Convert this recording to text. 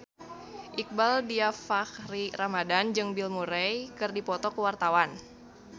Iqbaal Dhiafakhri Ramadhan jeung Bill Murray keur dipoto ku wartawan